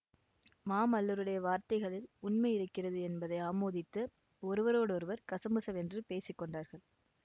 மாமல்லருடைய வார்த்தைகளில் உண்மை இருக்கிறது என்பதை ஆமோதித்து ஒருவரோடொருவர் கசமுசவென்று பேசி கொண்டார்கள்